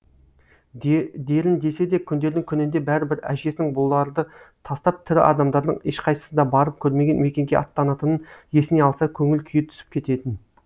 дерін десе де күндердің күнінде бәрібір әжесінің бұларды тастап тірі адамдардың ешқайсысы да барып көрмеген мекенге аттанатынын есіне алса көңіл күйі түсіп кететін